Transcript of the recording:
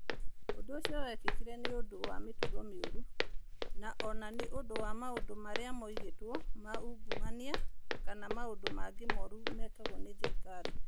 Ũndũ ũcio wekĩkire nĩ ũndũ wa mĩtugo mĩũru, na o na nĩ ũndũ wa maũndũ marĩa moigĩtwo ma ungumania kana maũndũ mangĩ moru mekagwo nĩ thirikari.